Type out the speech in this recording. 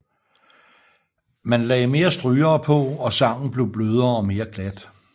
Man lagde mere strygere på og sangen blev blødere og mere glat